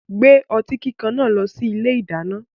Gbé ọtí kíkan náà lọ sí ilé-ìdáná.